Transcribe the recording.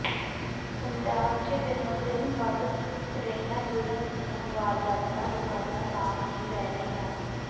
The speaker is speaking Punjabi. ਪੰਜਾਬ ਚ ਦਿਨੋ ਦਿਨ ਵੱਧ ਰਹੀਆਂ ਜੁਰਮ ਦੀਆਂ ਵਾਰਦਾਤਾਂ ਰੁਕਣ ਦਾ ਨਾਮ ਨਹੀਂ ਲੈ ਰਹੀਆਂ